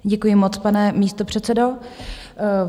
Děkuji moc, pane místopředsedo.